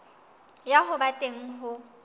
ya ho ba teng ho